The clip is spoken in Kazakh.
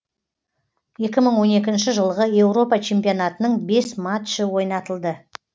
екі мың он екінші жылғы еуропа чемпионатының бес матчы ойнатылды